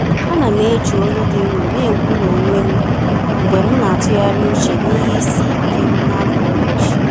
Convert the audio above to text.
Ana m eji olu dị nro na-ekwu n’onwe m mgbe m na-atụgharị uche n’ihe isi ike m n’afọ ụbọchị.